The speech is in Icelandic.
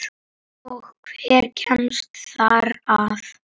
Og hver kemst þar að?